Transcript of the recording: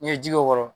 N'i ye ji k'o kɔrɔ